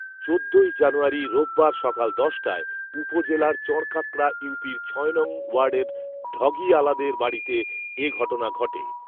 চোদ্দই জানুয়ারি রোববার সকাল দশটায় উপজেলার চরকাঁকড়া ইউপির ছ নং ওয়ার্ডের ঢগি আলাদের বাড়িতে এ ঘটনা ঘটে